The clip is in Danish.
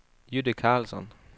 Jytte Carlsson